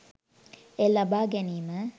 එය ලබා ගැනීම